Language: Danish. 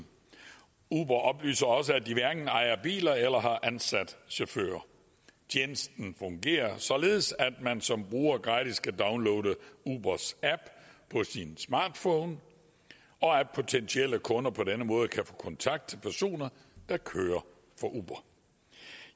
uber oplyser også at de hverken ejer biler eller har ansat chauffører tjenesten fungerer således at man som bruger gratis kan downloade ubers app på sin smartphone og at potentielle kunder på denne måde kan få kontakt til personer der kører for uber